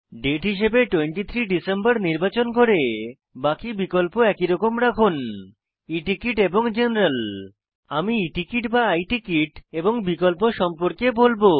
দাতে হিসাবে 23 ডিসেম্বর নির্বাচন করে বাকি বিকল্প একইরকম রাখুন e টিকেট এবং জেনারেল আমি e টিকেট বা i টিকেট এবং বিকল্প সম্পর্কে বলবো